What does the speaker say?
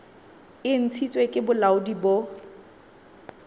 e ntshitsweng ke bolaodi bo